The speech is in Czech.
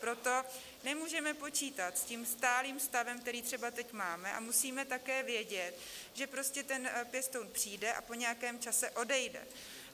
Proto nemůžeme počítat s tím stálým stavem, který třeba teď máme, a musíme také vědět, že prostě ten pěstoun přijde a po nějakém čase odejde.